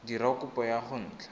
dira kopo ya go nt